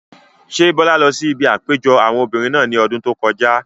Ṣé Bọ́lá lọ sí ibi àpéjọpọ̀ àwọn obìrin náà ní ọdún tó kọjá?